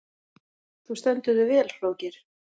Þú stendur þig vel, Hróðgeir!